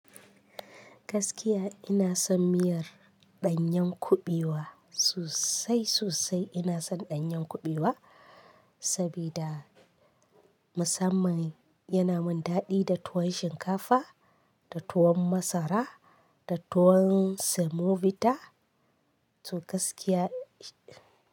Gaskiya ina son miyar ɗanyan kuɓewa sosai sosai ina son ɗanyen kuɓewa saboda musamman yana min daɗi da tuwon shinkafa da tuwon masara da tuwon semovita, to gaskiya.